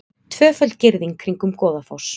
Tvöföld girðing kringum Goðafoss